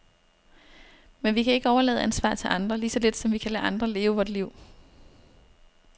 Men vi kan ikke overlade ansvaret til andre, lige så lidt som vi kan lade andre leve vort liv.